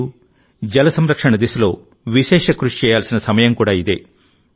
నీరుజల సంరక్షణ దిశలో విశేష కృషి చేయాల్సిన సమయం కూడా ఇదే